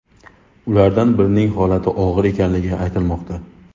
Ulardan birining holati og‘ir ekanligi aytilmoqda.